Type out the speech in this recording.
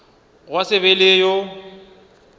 gwa se be le yo